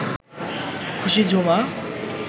খুশি ঝুমা